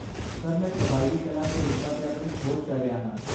Sir, ਮੈਂ ਕਬਾਇਲੀ ਕਲਾ ਦੇ ਰੂਪਾਂ 'ਤੇ ਆਪਣੀ ਖੋਜ ਕਰ ਰਿਹਾ ਹਾਂ।